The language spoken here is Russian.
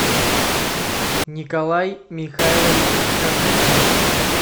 николай михайлович козликин